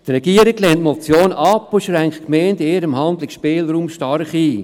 Die Regierung lehnt die Motion ab und schränkt die Gemeinden in ihrem Handlungsspielraum stark ein.